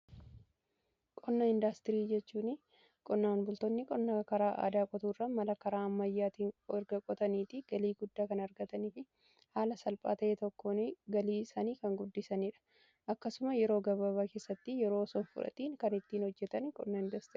Qonna indaastirii jechuun qonnaaan bultoonni qonna karaa aadaa qotuu irra mala karaa ammayyaatiine erga qotanii itti galii guddaa kan argatanii fi haala salphaa ta'ee tokkoon galii isanii kan guddisaniidha. Akkasumas yeroo gababaa keessatti yeroo osoon fudhatiin kan ittiin hojjetan qonna indaastrii jedhama.